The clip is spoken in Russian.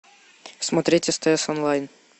смотреть стс онлайн